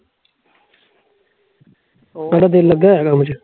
ਤੁਹਾਡਾ ਦਿਲ ਲੱਗਾ ਐ ਕੰਮ ਚ?